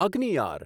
અગ્નિયાર